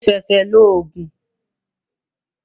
Mo ṣẹ̀ṣẹ̀ lo Ògùn